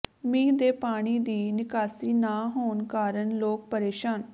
ਮੀਂਹ ਦੇ ਪਾਣੀ ਦੀ ਨਿਕਾਸੀ ਨਾਂ ਹੋਣ ਕਾਰਨ ਲੋਕ ਪਰੇਸ਼ਾਨ